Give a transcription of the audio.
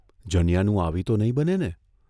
જનીયાનું આવી તો નહીં બને ને?